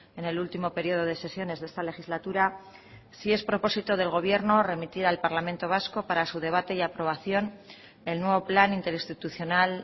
en el último periodo de sesiones de esta legislatura si es propósito del gobierno remitir al parlamento vasco para su debate y aprobación el nuevo plan interinstitucional